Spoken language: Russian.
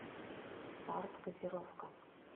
старт газировка